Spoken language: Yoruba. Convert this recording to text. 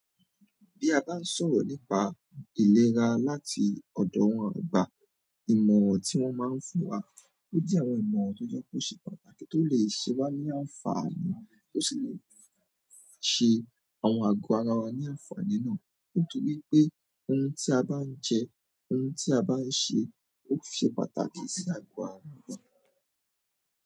Bí a bá ń sọ̀rọ̀ nípa ìlera láti ọ̀dọ̀ àwọn àgbà, ìmọ̀ràn tí wọ́n máa ń fún wa ó jẹ́ àwọn ìmọ̀ràn tó jẹ́ kó ṣe pàtàkì tó lè ṣẹ́wá ní àǹfààní tó sì lè ṣe àwọn àgọ́ ara wa ní àǹfààní náà. Nítorí pé ohun tí a bá ń jẹ, ohun tí a bá ń ṣe ó ṣe pàtàkì sí àgọ́ ara wa.